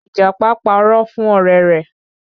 Ìjàpá parọ́ fún ọ̀rẹ́ rẹ̀